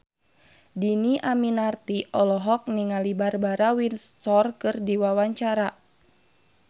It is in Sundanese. Dhini Aminarti olohok ningali Barbara Windsor keur diwawancara